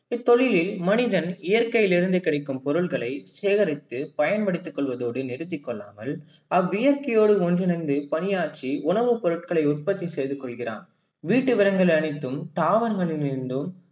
இத்தொழிலில் மனிதன் இயற்கையில் இருந்து கிடைக்கும் பொருள்களை சேகரித்து பயன்படுத்தி கொள்வதோடு நிறுத்தி கொள்ளாமல் அவ்வியர்க்கையோடு ஒன்றிணைந்து பணியாற்றி உணவு பொருள்களை உற்பத்தியாக்கி கொள்கிறான். வீட்டு விலங்குகள் அனைத்தும் தாவரங்களிருந்தும்